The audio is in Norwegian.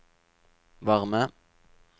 varme